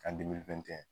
Kan dimi fɛn tɛ